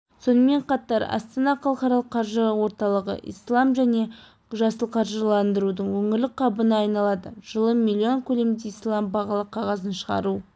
сонымен қатар астана халықаралық қаржы орталығы ислам және жасыл қаржыландырудың өңірлік хабына айналады жылы миллион көлемде ислам бағалы қағазын шығару